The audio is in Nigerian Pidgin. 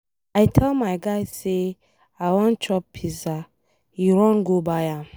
I tell my guy say I wan chop pizza, he run go buy am.